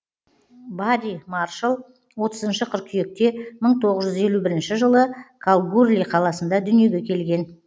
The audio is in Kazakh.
барри маршалл отызыншы қыркүйекте мың тоғыз жүз елу бірінші жылы калгурли қаласында дүниеге келген